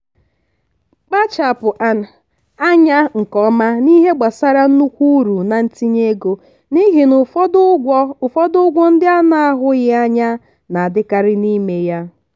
kpachapụ anya nke ọma n'ihe gbasara nnukwu uru na ntinye ego n'ihi na ụfọdụ ụgwọ ụfọdụ ụgwọ ndị a na-ahụghị anya na-adịkarị n'ime ya.